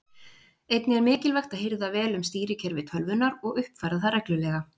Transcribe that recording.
Einnig er mikilvægt að hirða vel um stýrikerfi tölvunnar og uppfæra það reglulega.